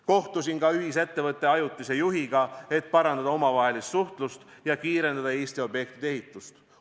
Kohtusin ka ühisettevõtte ajutise juhiga, et parandada omavahelist suhtlust ja kiirendada Eesti objektide ehitust.